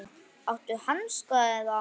Áttu hanska eða?